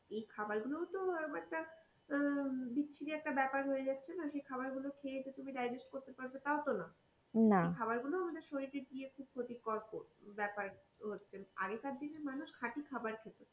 এই খাবার গুলোও তো ব্যাপার তা আহ বিচ্ছিরি একটা ব্যাপার হয়েযাচ্ছেনা সেই খাবার গুলো খেয়ে তো তুমি digest করতে পারবে তও তো না সেই খাবার গুলো শরীরে খুব ক্ষতিকর ব্যাপার হচ্ছে আগেকার দিনে মানুষ খাঁটি খবর খেত.